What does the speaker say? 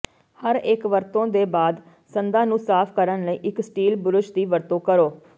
ਹਰੇਕ ਵਰਤੋਂ ਦੇ ਬਾਅਦ ਸੰਦਾਂ ਨੂੰ ਸਾਫ ਕਰਨ ਲਈ ਇੱਕ ਸਟੀਲ ਬੁਰਸ਼ ਦੀ ਵਰਤੋਂ ਕਰੋ